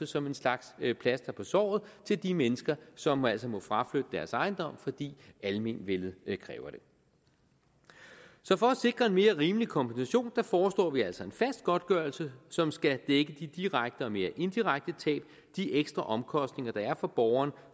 som en slags plaster på såret til de mennesker som altså må fraflytte deres ejendom fordi almenvellet kræver det så for at sikre en mere rimelig kompensation foreslår vi altså en fast godtgørelse som skal dække de direkte og mere indirekte tab de ekstra omkostninger der er for borgeren